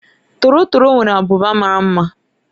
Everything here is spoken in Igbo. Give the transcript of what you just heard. Torotoro nwere ábụbà mara mma.